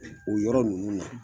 O yɔrɔ ninnu na